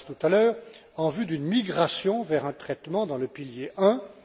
M. Karas tout à l'heure, en vue d'une migration vers un traitement dans le pilier